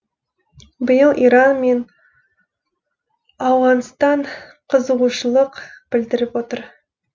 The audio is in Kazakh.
биыл иран мен ауғанстан қызығушылық білдіріп отыр